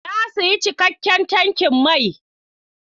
Na sayi cikakken tankin mai.